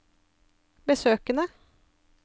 besøkene